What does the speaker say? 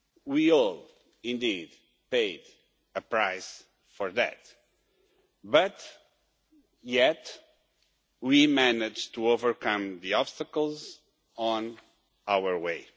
We all indeed paid a price for that, yet we managed to overcome the obstacles on our way.